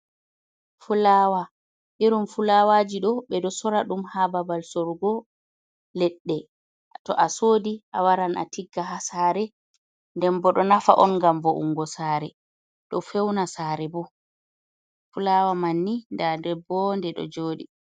Fulaawa, irin fulaawaaji ɗo ɓe ɗo soora ɗum haa babal soorugo leɗɗe to a soodi a waran a tigga haa saare nden bo ɗo nafa on ngam vo’ungo saare ɗo fewna saare boo Fulaawa man nii ndaa ɗum ɗo jooɗi.